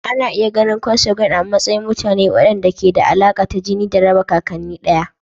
Ana iya ganin Consanguine a matsayin mutane waɗanda ke da alaƙa ta jini da raba kakanni ɗaya.